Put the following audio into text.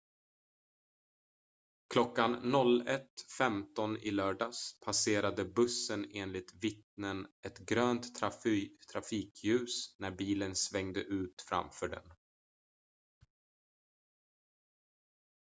klockan 01.15 i lördags passerade bussen enligt vittnen ett grönt trafikljus när bilen svängde ut framför den